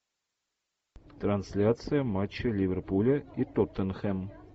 трансляция матча ливерпуля и тоттенхэм